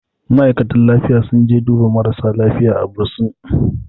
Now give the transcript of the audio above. ma'aikatan lifiya sun je duba marasa lafiya a bursin